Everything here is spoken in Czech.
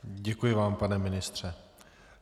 Děkuji vám, pane ministře.